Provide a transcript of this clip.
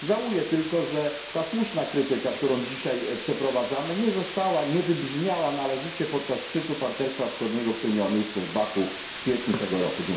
Żałuję tylko, że ta słuszna krytyka, którą dzisiaj przeprowadzamy, nie wybrzmiała należycie podczas szczytu partnerstwa wschodniego, który miał miejsce w Baku w kwietniu tego roku.